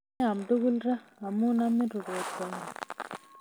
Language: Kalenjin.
Meaam tugul raa, amu amin rubet karoon